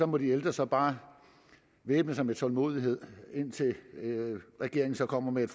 må de ældre så bare væbne sig med tålmodighed indtil regeringen kommer med